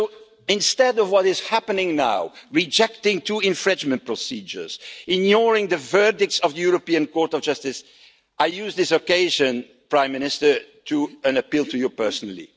all up. So, instead of what is happening now rejecting two infringement procedures, ignoring the verdicts of the European Court of Justice I use this occasion, Prime Minister, to appeal to you personally.